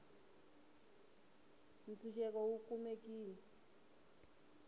tshuxeko wu kumekile